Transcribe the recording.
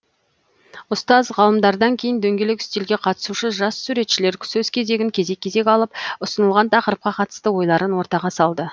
ұстаз ғалымдардан кейін дөңгелек үстелге қатысушы жас суретшілер сөз кезегін кезек кезек алып ұсынылған тақырыпқа қатысты ойларын ортаға салды